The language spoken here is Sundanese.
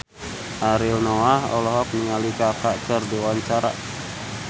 Ariel Noah olohok ningali Kaka keur diwawancara